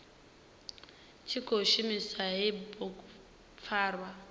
tshi khou shumisa hei bugupfarwa